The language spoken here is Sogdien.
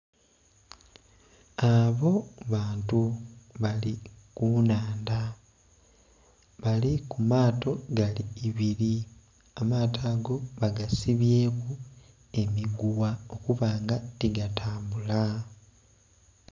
Abo bantu bali kunhandha bali kumaato gali ibiri, amaato ago bagasibyeku emigugha okubanga tigatambula.